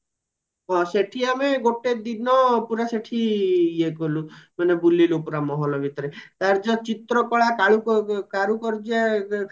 ସେଠି ଆମେ ଗୋଟେ ଦିନ ପୁରା ସେଠି ଇଏ କଲୁ ମାନେ ବୁଲିଲୁ ପୁରା ମହଲା ଭିତରେ ତାର ଯୋଉ ଚିତ୍ର କଳା କରୁ କାର୍ଯ୍ୟ